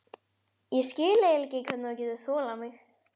Ég skil eiginlega ekki hvernig þú getur þolað mig.